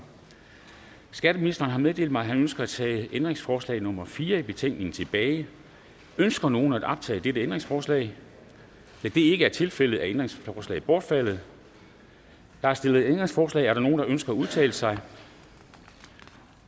skatteministeren har meddelt mig at han ønsker at tage ændringsforslag nummer fire i betænkningen tilbage ønsker nogen at optage dette ændringsforslag da det ikke er tilfældet er ændringsforslaget bortfaldet der er stillet ændringsforslag er der nogen der ønsker at udtale sig